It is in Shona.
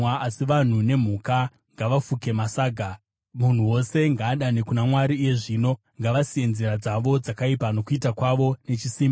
Asi vanhu nemhuka ngavafuke masaga. Munhu wose ngaadane kuna Mwari iye zvino. Ngavasiye nzira dzavo dzakaipa nokuita kwavo nechisimba.